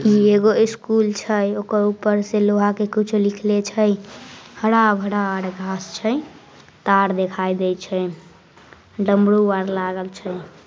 ई एगो स्कूल छई ओकर ऊपर से लोहा के कुछ लिखले छई हरा भरा आर घास छई तार दिखाई देई छई डमरू आर लागल छई।